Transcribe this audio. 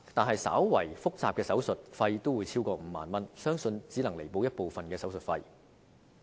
可是，稍為複雜的手術費也超過5萬元，相信以上賠款只能彌補部分手術費。